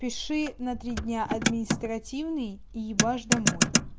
пиши на три дня административный и ебаш домой